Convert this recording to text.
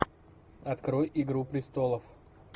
открой игру престолов